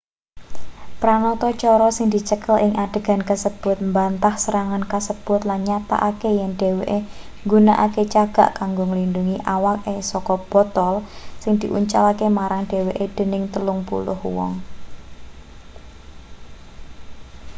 pranatacara sing dicekel ing adegan kasebut mbantah serangan kasebut lan nyatakake yen dheweke nggunakake cagak kanggo nglindhungi awake saka botol sing diuncalake marang dheweke dening telung puluh wong